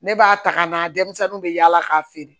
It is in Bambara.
Ne b'a ta ka na denmisɛnninw bɛ yaala k'a feere